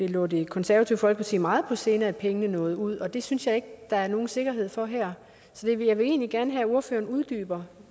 lå det konservative folkeparti meget på sinde at pengene nåede ud det synes jeg ikke der er nogen sikkerhed for her så jeg vil egentlig gerne have at ordføreren uddyber